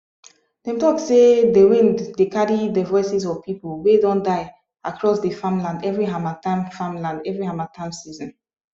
dem talk sey de wind dey carry de voices of people wey don die across dey farmland every harmattan farmland every harmattan season